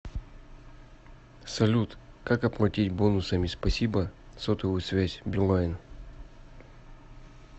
салют как оплатить бонусами спасибо сотовую связь билайн